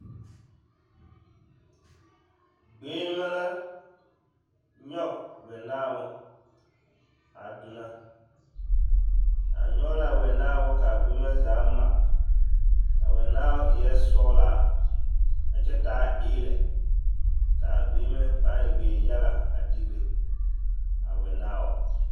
Gbeŋime la nyɔge wɛnaabo a donɔ, a nyɔge l'a wɛnaabo k'a gbeŋime zaa ma, a wɛnaao eɛ sɔgelaa a kyɛ taa eelɛ k'a gbeŋime pãã e gbeŋ-yaga a pãã digire a wɛnaao.